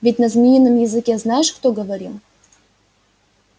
ведь на змеином языке знаешь кто говорил